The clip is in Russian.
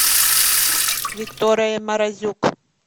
виктория морозюк